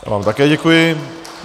Já vám také děkuji.